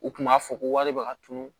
U kun b'a fɔ ko wale b'a tunu